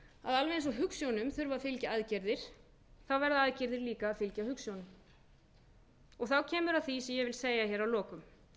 að alveg eins og hugsjónum þurfi að fylgja aðgerðir verða aðgerðir líka að fylgja hugsjónum þá kemur að því se ég vil segja að lokum